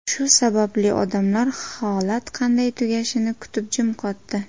Shu sababli odamlar holat qanday tugashini kutib, jim qotdi.